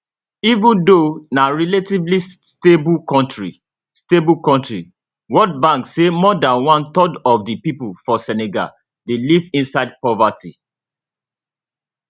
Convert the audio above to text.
even though na relatively stable kontri stable kontri world bank say more than one third of di pipo for senegal dey live inside poverty